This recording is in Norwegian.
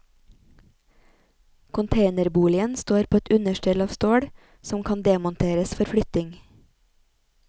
Containerboligen står på et understell av stål, som kan demonteres for flytting.